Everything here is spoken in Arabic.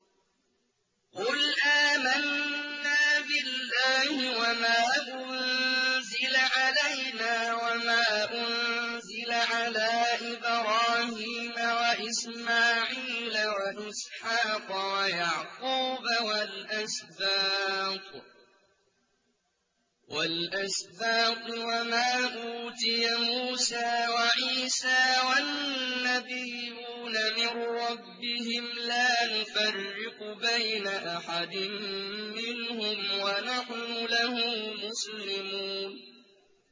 قُلْ آمَنَّا بِاللَّهِ وَمَا أُنزِلَ عَلَيْنَا وَمَا أُنزِلَ عَلَىٰ إِبْرَاهِيمَ وَإِسْمَاعِيلَ وَإِسْحَاقَ وَيَعْقُوبَ وَالْأَسْبَاطِ وَمَا أُوتِيَ مُوسَىٰ وَعِيسَىٰ وَالنَّبِيُّونَ مِن رَّبِّهِمْ لَا نُفَرِّقُ بَيْنَ أَحَدٍ مِّنْهُمْ وَنَحْنُ لَهُ مُسْلِمُونَ